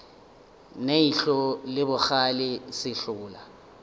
ne ihlo le bogale sehlola